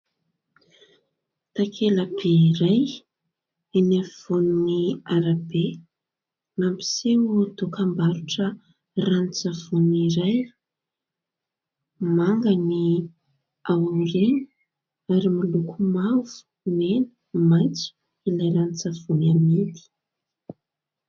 takelabe iray eny afivoany arabe mampiseo tokambarotra ranontsavony iray manga ny ao ngena ary maloko mavo mena maitso ilay ranontsavony amidy